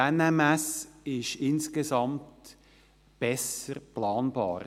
Die NMS ist insgesamt besser planbar.